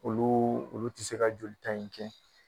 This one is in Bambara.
Olu olu tɛ se ka joli ta in kɛ